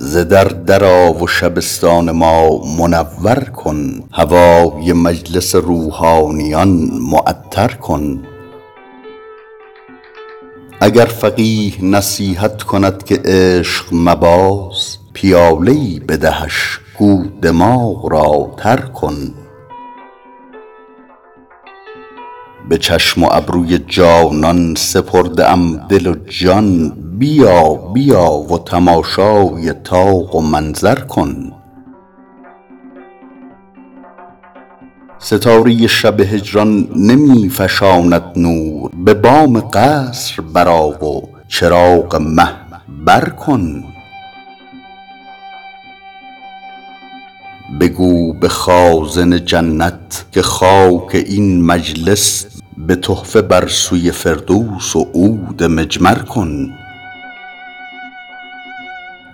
ز در در آ و شبستان ما منور کن هوای مجلس روحانیان معطر کن اگر فقیه نصیحت کند که عشق مباز پیاله ای بدهش گو دماغ را تر کن به چشم و ابروی جانان سپرده ام دل و جان بیا بیا و تماشای طاق و منظر کن ستاره شب هجران نمی فشاند نور به بام قصر برآ و چراغ مه بر کن بگو به خازن جنت که خاک این مجلس به تحفه بر سوی فردوس و عود مجمر کن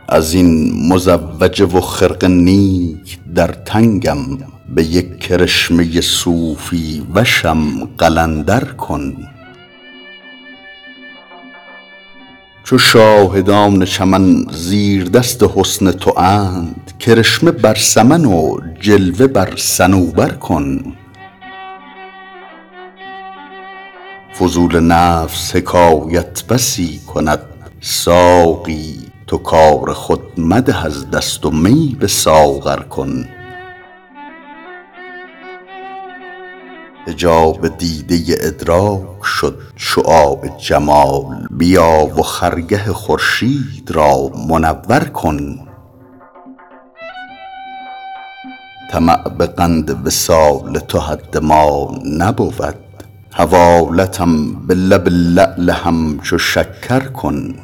از این مزوجه و خرقه نیک در تنگم به یک کرشمه صوفی وشم قلندر کن چو شاهدان چمن زیردست حسن تواند کرشمه بر سمن و جلوه بر صنوبر کن فضول نفس حکایت بسی کند ساقی تو کار خود مده از دست و می به ساغر کن حجاب دیده ادراک شد شعاع جمال بیا و خرگه خورشید را منور کن طمع به قند وصال تو حد ما نبود حوالتم به لب لعل همچو شکر کن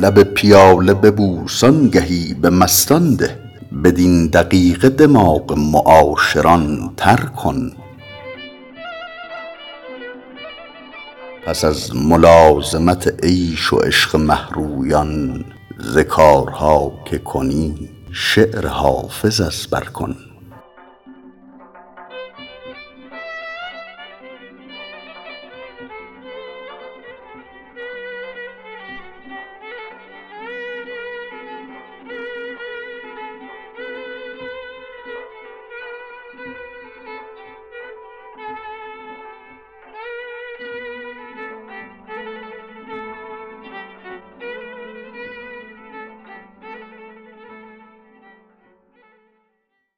لب پیاله ببوس آنگهی به مستان ده بدین دقیقه دماغ معاشران تر کن پس از ملازمت عیش و عشق مه رویان ز کارها که کنی شعر حافظ از بر کن